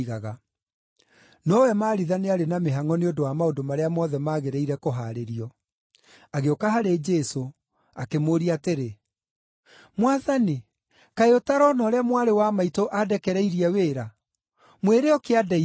Nowe Maritha nĩarĩ na mĩhangʼo nĩ ũndũ wa maũndũ marĩa mothe magĩrĩire kũhaarĩrio. Agĩũka harĩ Jesũ, akĩmũũria atĩrĩ, “Mwathani, kaĩ ũtarona ũrĩa mwarĩ wa maitũ andekereirie wĩra? Mwĩre oke andeithie!”